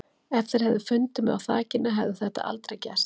Ef þeir hefðu fundið mig á þakinu hefði þetta aldrei gerst.